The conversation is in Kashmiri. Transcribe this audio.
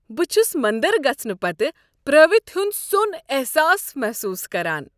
بہٕ چُھس مندر گژھنہٕ پتہٕ پراوتھِ ہٖند سون احساس محسوس کران۔